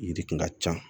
Yiri kun ka ca